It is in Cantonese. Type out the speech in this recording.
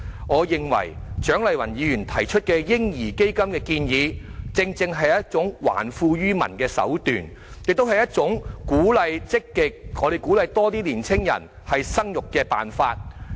我認為，蔣麗芸議員提出的"嬰兒基金"建議，正正是一種還富於民的手段，也是一種積極鼓勵更多年青人生育的辦法。